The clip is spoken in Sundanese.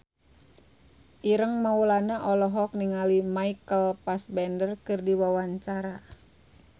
Ireng Maulana olohok ningali Michael Fassbender keur diwawancara